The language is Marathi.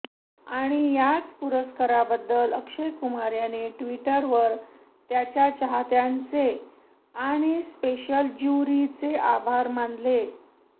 आणि याच पुरस्काराबद्दल अक्षय कुमार याने ट्विटरवर त्याच्या चाहत्यांचे आणि स्पेशल ज्युरीचे आभार मानले